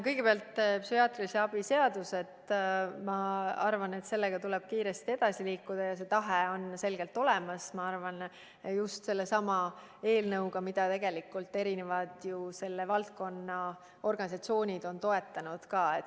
Kõigepealt, ma arvan, et psühhiaatrilise abi seadusega tuleb kiiresti edasi liikuda ja see tahe on selgelt olemas – just sellesama eelnõuga, mida tegelikult on selle valdkonna organisatsioonid ju ka toetanud.